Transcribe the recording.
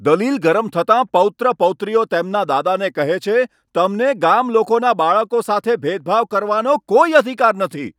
દલીલ ગરમ થતાં પૌત્ર પૌત્રીઓ તેમનાં દાદાને કહે છે, તમને ગામલોકોના બાળકો સાથે ભેદભાવ કરવાનો કોઈ અધિકાર નથી.